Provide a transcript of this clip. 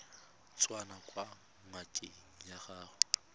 tswang kwa ngakeng ya gago